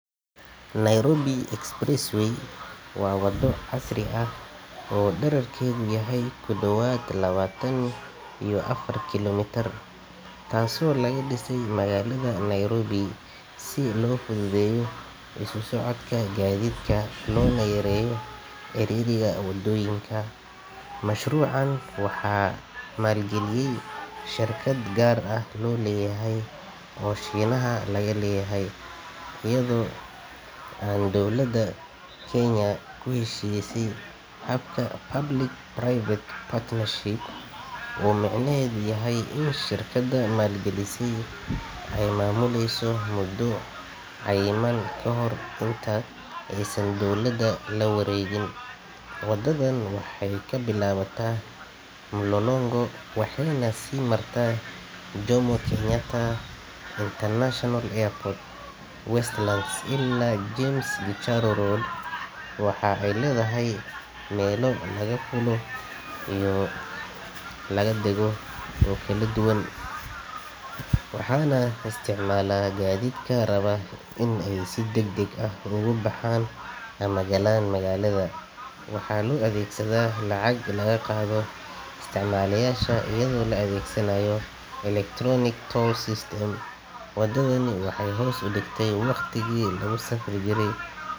Nairobi Expressway waa waddo casri ah oo dhererkeedu yahay ku dhowaad labaatan iyo afar kiiloomitir, taasoo laga dhisay magaalada Nairobi si loo fududeeyo isu socodka gaadiidka loona yareeyo ciriiriga waddooyinka. Mashruucan waxaa maalgeliyey shirkad gaar loo leeyahay oo Shiinaha laga leeyahay iyadoo ay dowladda Kenya ku heshiisay habka Public-Private Partnership oo micnaheedu yahay in shirkadda maalgelisay ay maamuleyso muddo cayiman ka hor inta aysan dowladda la wareegin. Waddadan waxay ka bilaabataa Mlolongo waxayna sii martaa Jomo Kenyatta International Airport, Westlands ilaa James Gichuru Road. Waxa ay leedahay meelo laga fuulo iyo laga dago oo kala duwan, waxaana isticmaala gaadiidka raba in ay si degdeg ah uga baxaan ama galaan magaalada. Waxaa loo adeegsadaa lacag laga qaado isticmaaleyaasha iyadoo la adeegsanayo electronic toll system. Waddadani waxay hoos u dhigtay waqtigii lagu safri jiray.